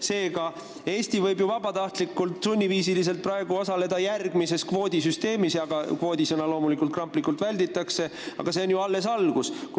Seega, Eesti võib ju vabatahtlikult sunniviisiliselt osaleda järgmises kvoodisüsteemis – sõna "kvoot" loomulikult kramplikult välditakse –, aga see on alles algus.